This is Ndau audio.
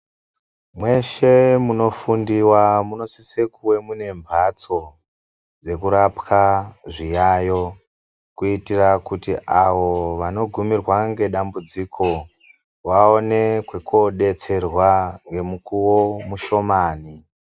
Mweshe munofundiwa munosise kuve mune mbatso dzekurapwa zviyayiyo kuitira kuti avo vanogumirwa ndedambudziko vaone kwekodetserwa ngemukuwo mushomani.